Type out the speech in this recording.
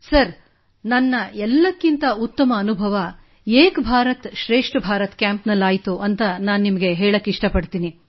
sir ನನ್ನ ಎಲ್ಲಕ್ಕಿಂತ ಉತ್ತಮ ಅನುಭವ ಏಕ್ ಭಾರತ್ ಶ್ರೇಷ್ಠ ಭಾರತ್ ಕ್ಯಾಂಪ್ನಲ್ಲಾಯಿತು ಎಂದು ನಾನು ನಿಮಗೆ ಹೇಳಬಯಸುತ್ತೇನೆ